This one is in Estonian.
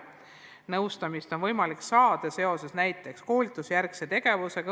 Nõustamist on võimalik saada seoses näiteks koolitusjärgse tegevusega.